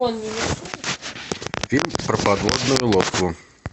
фильм про подводную лодку